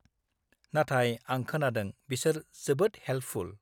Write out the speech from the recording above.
नाथाय, आं खोनादों बिसोर जोबोद हेल्पफुल।